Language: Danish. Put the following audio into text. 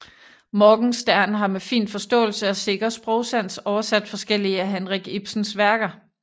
Morgenstern har med fin forståelse og sikker sprogsans oversat forskellige af Henrik Ibsens værker